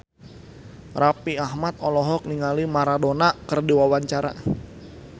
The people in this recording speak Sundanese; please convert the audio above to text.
Raffi Ahmad olohok ningali Maradona keur diwawancara